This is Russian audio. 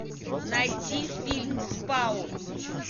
найти фильм спаун